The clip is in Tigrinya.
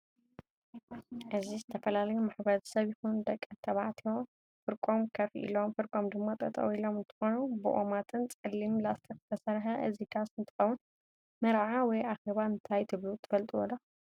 እዚዝተፈላለዩ ማሕበረሰብ ይኩን ደቂ ተባዕትዮ ፍሪቆም ከፍ ኢሎም ፍርቆም ድማ ጠጠው ኢሎም እንትኮኑ ብኦማትን ፀ'ሊም ላስትክ ዝተሰርሕ እዚ ዳስ እንትከውን መርዓ ወይ ኣከባ እንታይ ትብሉ ትፍልጥዶ?